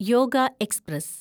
yoga express